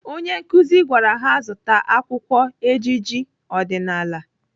Onye nkụzi gwara ha zụta akwụkwọ ejije ọdịnaala.